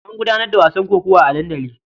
An gudanar da wasan kokawa a dandali.